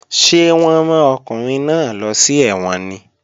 Ṣé wọ́n rán ọkùnrin náà lọ sí ẹ̀wọ̀n ni?